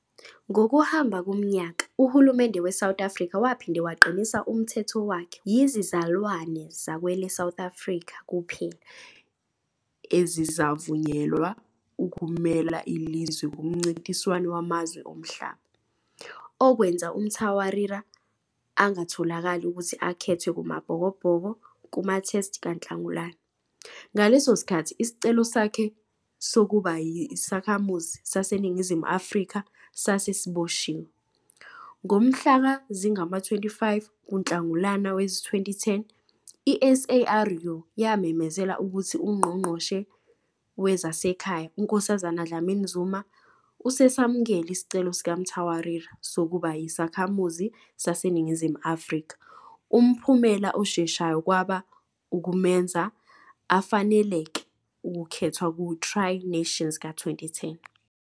Ngokuhamba komnyaka, uhulumende weSouth Africa waphinda waqinisa umthetho wakhe wokuthi yizizalwane zakwele South Africa kuphela ezizavunyelwa ukumela ilizwe kumncintiswano wamazwe omhlaba, okwenza uMtawarira angatholakali ukuthi akhethwe kumaBhokobhoko kumaTest kaNhlangulana, ngaleso sikhathi isicelo sakhe sokuba yisakhamuzi saseNingizimu Afrika sase siboshiwe. Ngomhla zingama-25 kuNhlangulana wezi-2010, i-SARU yamemezela ukuthi uNgqongqoshe Wezasekhaya uNkosazana Dlamini-Zuma usesamukele isicelo sikaMtawarira sokuba yisakhamuzi saseNingizimu Afrika. Umphumela osheshayo kwaba ukumenza afanelekele ukukhethwa ku- Tri Nations ka -2010.